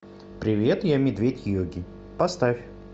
привет я медведь йоги поставь